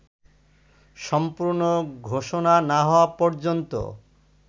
সম্পূর্ণ ঘোষণা না হওয়া পর্যন্ত